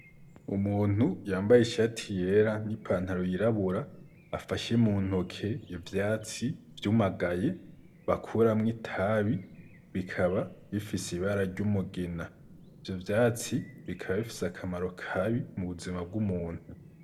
Umuntu yambaye ishati yera ,n'ipantaro y'irabura, afashe muntoke ivyatsi vyumagaye, bakuramwo itabi ,bikaba bifise ibara ry'umugina, ivyo vyatsi bikaba bifise akamaro kabi mubuzima bw'umuntu.